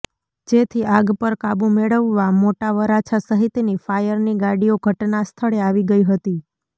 જેથી આગ પર કાબૂ મેળવવા મોટા વરાછા સહિતની ફાયરની ગાડીઓ ઘટના સ્થળે આવી ગઈ હતી